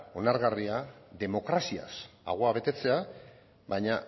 onargarria demokraziaz ahoa betetzea baina